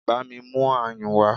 Bámi mú ayùn wá!